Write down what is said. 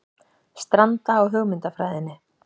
Stranda á hugmyndafræðinni